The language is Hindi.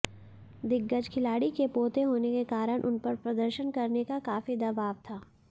दिग्गज खिलाड़ी के पोते होने के कारण उनपर प्रदर्शन करने का काफी दबाव था